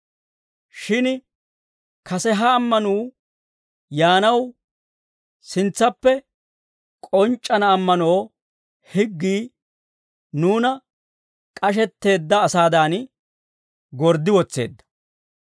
Shin kase ha ammanuu yaanaw, sintsappe k'onc'c'ana ammanoo higgii nuuna k'ashetteedda asaadan gorddi wotseedda.